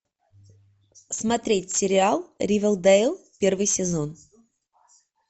смотреть сериал ривердейл первый сезон